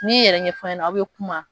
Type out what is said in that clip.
N'i yɛrɛ ɲɛfɔ a ɲɛna aw bɛ kuma